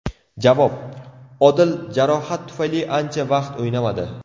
Javob: Odil jarohat tufayli ancha vaqt o‘ynamadi.